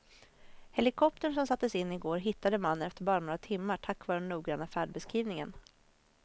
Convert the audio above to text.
Helikoptern som sattes in i går hittade mannen efter bara några timmar tack vare den noggranna färdbeskrivningen.